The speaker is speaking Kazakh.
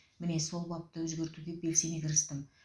міне сол бапты өзгертуге белсене кірістім